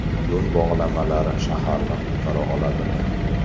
Yo‘l bog‘lamalari shaharni qutqara oladimi?.